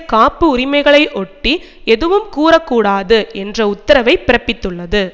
காப்பு உரிமைகளை ஒட்டி ஏதும் கூறக்கூடாது என்ற உத்தரவை பிறப்பித்துள்ளது